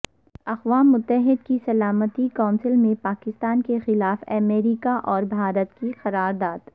اقوام متحدہ کی سلامتی کونسل میں پاکستان کیخلاف امریکہ اور بھارت کی قرارداد